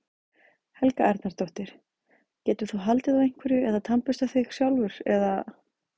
Helga Arnardóttir: Getur þú haldið á einhverju eða tannburstað þig sjálfur eða?